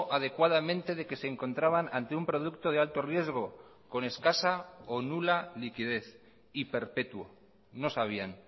adecuadamente de que se encontraban ante un producto de alto riesgo con escasa o nula liquidez y perpetuo no sabían